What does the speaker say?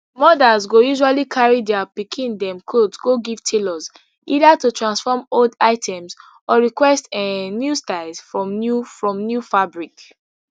mothers go usually carry dia pikin dem clothe go give tailors either to transform old items or request um new styles from new from new fabric